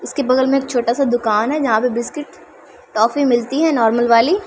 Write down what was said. इसके बगल में एक छोटा-सा दुकान है जहाँ पे बिस्किट टॉफ़ी मिलती है नार्मल वाली।